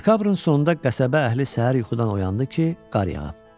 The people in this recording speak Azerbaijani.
Dekabrın sonunda qəsəbə əhli səhər yuxudan oyandı ki, qar yağıb.